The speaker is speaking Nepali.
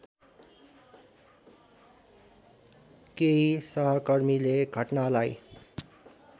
केही सहकर्मीले घटनालाई